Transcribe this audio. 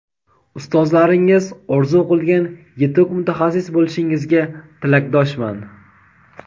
ustozlaringiz orzu qilgan yetuk mutaxassis bo‘lishingizga tilakdoshman!.